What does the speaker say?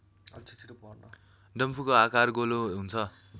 डम्फुको आकार गोलो हुन्छ